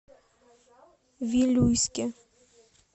вилюйске